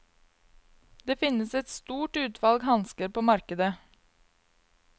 Det finnes et stort utvalg hansker på markedet.